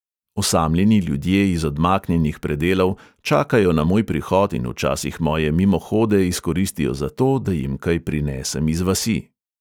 Osamljeni ljudje iz odmaknjenih predelov čakajo na moj prihod in včasih moje mimohode izkoristijo zato, da jim kaj prinesem iz vasi ...